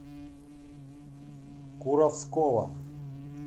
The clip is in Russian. куровского